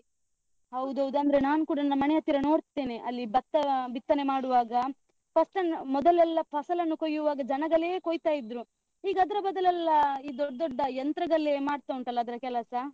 ಹೌದೌದು. ಅಂದ್ರೆ ನಾನ್ ಕೂಡ ನನ್ನ ಮನೆ ಹತ್ತಿರ ನೋಡ್ತೆನೆ, ಅಲ್ಲಿ ಭತ್ತ ಬಿತ್ತನೆ ಮಾಡುವಾಗ first , ಮೊದಲೆಲ್ಲ ಫಸಲನ್ನು ಕೊಯ್ಯುವಾಗ ಜನಗಲೇ ಕೊಯ್ತಾ ಇದ್ರು. ಈಗ ಅದ್ರ ಬದಲೆಲ್ಲ ಆ ಈ ದೊಡ್ಡ್ ದೊಡ್ಡ ಯಂತ್ರಗಲೇ ಮಾಡ್ತಾ ಉಂಟಲ್ಲ ಅದ್ರ ಕೆಲಸ?